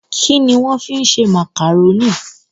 Kini won fi n ṣe Macaroni?